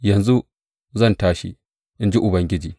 Yanzu zan tashi, in ji Ubangiji.